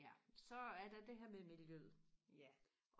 ja så er der det her med miljøet